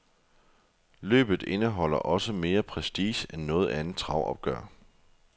Løbet indeholder også mere prestige end noget andet travopgør.